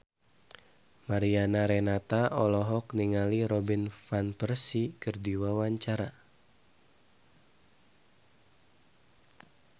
Mariana Renata olohok ningali Robin Van Persie keur diwawancara